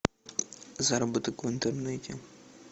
заработок в интернете